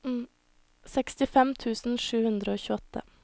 sekstifem tusen sju hundre og tjueåtte